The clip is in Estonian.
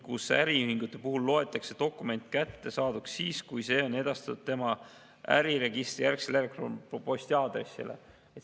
Äriühingute puhul loetakse dokument kättesaadavaks siis, kui see on edastatud tema äriregistrijärgsele elektronposti aadressile.